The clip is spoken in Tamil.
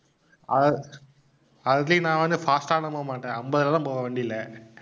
அதிலேயே நான் வந்து fast ஆ எல்லாம் போமாட்டேன் அம்பதுல தான் போவேன் வண்டியில.